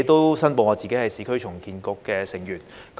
我亦申報我是市區重建局的成員。